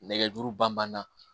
Nɛgɛjuru ban na